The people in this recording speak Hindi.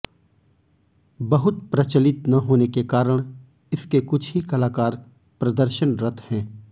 बहुत प्रचलित न होने के कारण इसके कुछ ही कलाकार प्रदर्शनरत हैं